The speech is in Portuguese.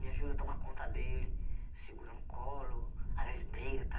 Me ajuda a tomar conta dele, segura no colo, às vezes briga,